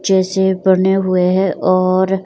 जैसे बने हुए हैं और--